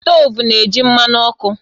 Stovu na-eji mmanụ ọkụ